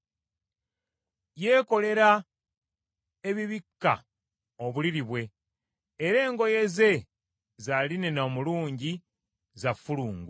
Yeekolera ebibikka obuliri bwe, era engoye ze za linena omulungi, za ffulungu.